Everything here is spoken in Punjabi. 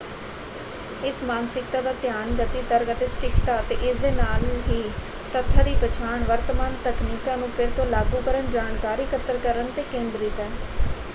ਇਸ ਮਾਨਸਿਕਤਾ ਦਾ ਧਿਆਨ ਗਤੀ ਤਰਕ ਅਤੇ ਸਟੀਕਤਾ ਅਤੇ ਇਸ ਦੇ ਨਾਲ ਹੀ ਤੱਥਾਂ ਦੀ ਪਛਾਣ ਵਰਤਮਾਨ ਤਕਨੀਕਾਂ ਨੂੰ ਫਿਰ ਤੋਂ ਲਾਗੂ ਕਰਨ ਜਾਣਕਾਰੀ ਇਕੱਤਰ ਕਰਨ 'ਤੇ ਕੇਂਦਰਿਤ ਹੈ।